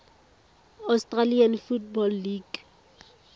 australian football league